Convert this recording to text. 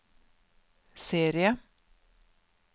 serie